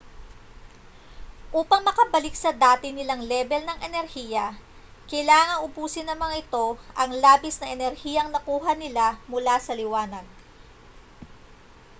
upang makabalik sa dati nilang lebel ng enerhiya kailangang ubusin ng mga ito ang labis na enerhiyang nakuha nila mula sa liwanag